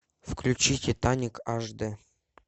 включи титаник аш д